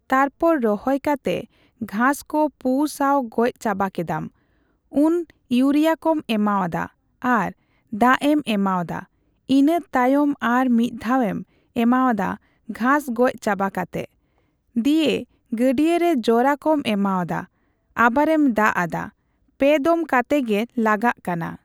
ᱛᱟᱨᱯᱚᱨ ᱨᱚᱦᱚᱭ ᱠᱟᱛᱮ ᱜᱷᱟᱸᱥ ᱠᱚ ᱯᱩ ᱥᱟᱣ ᱜᱚᱡ ᱪᱟᱵᱟ ᱠᱮᱫᱟᱢ᱾ ᱩᱱ ᱤᱭᱩᱨᱤᱭᱟ ᱠᱚᱢ ᱮᱢᱟᱣᱟᱫᱟ ᱟᱨ ᱫᱟᱜ ᱮᱢ ᱮᱢᱟᱣᱫᱟ᱾ ᱤᱱᱟᱹ ᱛᱟᱭᱚᱢ ᱟᱨ ᱢᱤᱫ ᱫᱷᱟᱣᱮᱢ ᱮᱢᱟᱣᱟᱫᱟ ᱜᱷᱟᱸᱥ ᱜᱚᱡ ᱪᱟᱵᱟ ᱠᱟᱛᱮ, ᱫᱤᱭᱮ ᱜᱟᱹᱲᱭᱟᱹ ᱨᱮ ᱡᱚᱨᱟ ᱠᱚᱢ ᱮᱢᱟᱣᱟᱫᱟ ᱟᱵᱟᱨᱮᱢ ᱫᱟᱜ ᱟᱫᱟ᱾ ᱯᱮ ᱫᱚᱢ ᱠᱟᱛᱮ ᱜᱮ ᱞᱟᱜᱟᱜ ᱠᱟᱱᱟ᱾